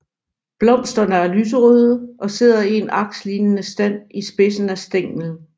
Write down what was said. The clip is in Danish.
Blomsterne er lyserøde og sidder i en akslignende stand i spidsen af stænglen